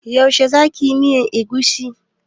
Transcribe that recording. Yaushe za ki yi miyan egusi?